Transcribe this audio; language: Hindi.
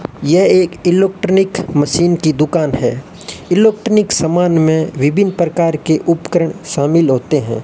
ये एक एलुक्ट्रॉनिक मशीन की दुकान है एलुक्ट्रिनिक सामान में विभिन्न प्रकार के उपकरण शामिल होते हैं।